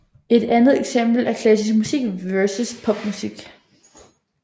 Et andet eksempel er klassisk musik versus popmusik